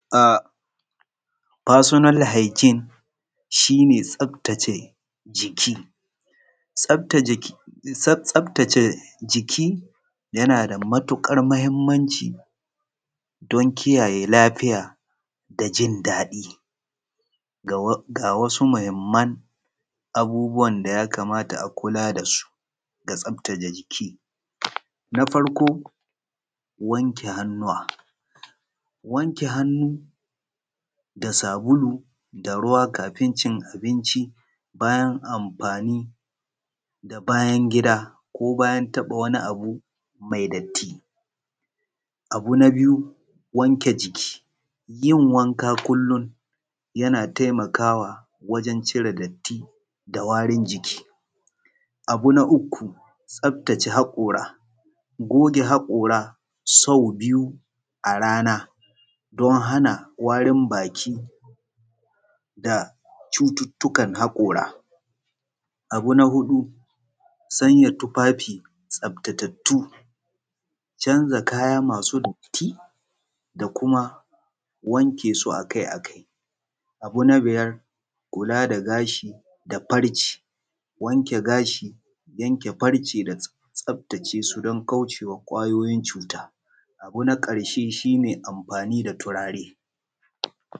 Personal hygiene shi ne tsaftace jiki, tsaftace jiki yana da matuƙar mahimmanci don kiayaye lafiya da jin daɗi ga wasu muhimman abubuwa da ya kamata a kula da su ga tsaftace jiki, na faroko wanke hannuwa. Wanke hannuwa da sabulu da ruwa kafin bacci bayan amfani da bayan gida ko bayan taɓa wani abu mai datti. Na biyu wanke jiki, yin wanka kullum yana taimakawa wajen cire datti da warin jiki. Abu na uku tsaftace haƙura goge hakora sau biyu a rana don hana warin baki da cuttuttukan hakora. Abu na huɗu sanya tufafi tsaftattu ,canza kaya masu datti da kuma wanke su a kai a kai. Abu na biyar kula da gashi da farce wanke gashi yanke farce da tsaftace su don kaucewa ƙwayoyin cuta. Abun na ƙarshe shi ne amfani da turare.